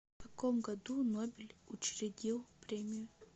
в каком году нобель учредил премию